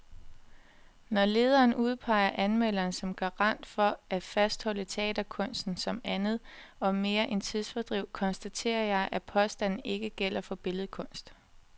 Når lederen udpeger anmelderen som garant for at fastholde teaterkunsten som andet og mere end tidsfordriv, konstaterer jeg, at påstanden ikke gælder for billedkunst.